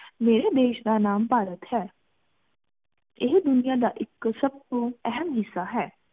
ਮੇਰੇ ਦੇਸ਼ ਦਾ ਨਾਮ ਭਾਰਤ ਹੈ ਇਹ ਦੁਨਿਯਾ ਦਾ ਇਕ ਸਬ ਤੋਅਹਮ ਹਿੱਸਾ ਹੈ